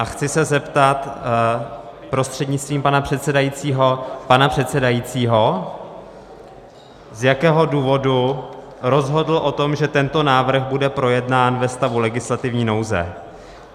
A chci se zeptat prostřednictvím pana předsedajícího pana předsedajícího, z jakého důvodu rozhodl o tom, že tento návrh bude projednán ve stavu legislativní nouze.